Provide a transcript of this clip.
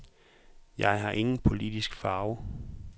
Jeg har ingen politisk farve.